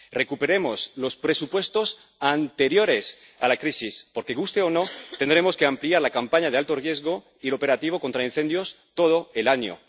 Recuperemos los presupuestos anteriores a la crisis, porque, guste o no, tendremos que ampliar la campaña de alto riesgo y el operativo contra incendios a todo el año.